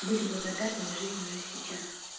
быть благодарными жизни уже сейчас